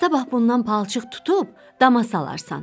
Sabah bundan palçıq tutub dama salarsan.